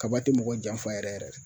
Kaba ti mɔgɔ janfa yɛrɛ yɛrɛ